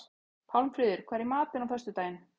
Pálmfríður, hvað er í matinn á föstudaginn?